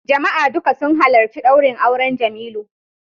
Jama'a duka sun halarci daurin auren Jemilu